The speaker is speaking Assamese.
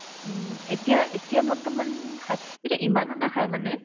উম, এতিয়া এতিয়া বৰ্তমান খাই কিন্তু ইমানো নাখাই মানে